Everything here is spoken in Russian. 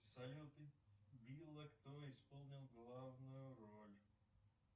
салют билла кто исполнил главную роль